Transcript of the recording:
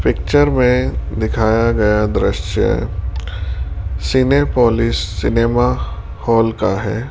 Picture में दिखाया गया दृश्य सिनेपोलिस सिनेमा हॉल का है।